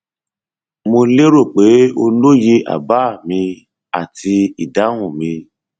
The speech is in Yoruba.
mo lérò pé o lóye àbá mi àti ìdáhùn mi